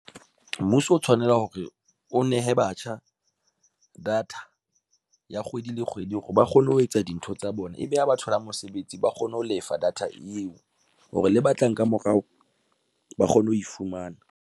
Mmuso o tshwanela hore o nehe batjha data ya kgwedi le kgwedi hore ba kgone ho etsa dintho tsa bona ebe ha ba thola mosebetsi, ba kgone ho lefa data eo hore le ba tlang ka morao ba kgone ho e fumana.